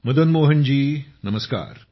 मदन मोहन जी नमस्कार